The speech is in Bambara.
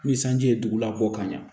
Ni sanji ye dugu la bɔ ka ɲa